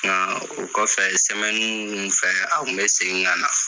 Nka o kɔfɛ fɛ a kun bɛ segin kan na.